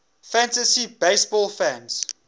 fantasy baseball fans